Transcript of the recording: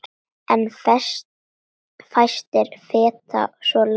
En fæstir feta svo langt.